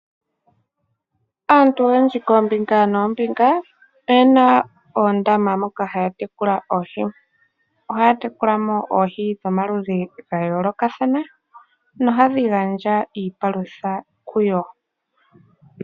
Aantu oyendji koombinga noombinga oye na oondama moka haya tekula oohi. Ohaya tekula mo oohi dhomaludhi ga yoolokathana nohadhi gandja iipalutha kuyo.